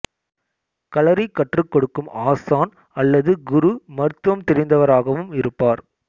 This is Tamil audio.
களரி கற்றுக் கொடுக்கும் ஆசான் அல்லது குரு மருத்துவம் தெரிந்தவராகவும் இருப்பார்